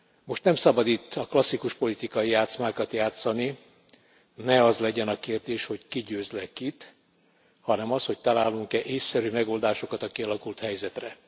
Most nem szabad itt a klasszikus politikai játszmákat játszani, ne az legyen a kérdés, hogy ki győz le kit, hanem az, hogy találunk e ésszerű megoldásokat a kialakult helyzetre.